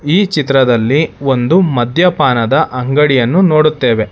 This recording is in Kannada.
ಈ ಚಿತ್ರದಲ್ಲಿ ಒಂದು ಮಧ್ಯಪಾನದ ಅಂಗಡಿಯನ್ನು ನೋಡುತ್ತೇವೆ.